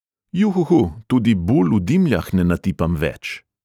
Juhuhu, tudi bul v dimljah ne natipam več.